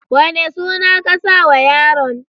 Wane suna ka saw yaron.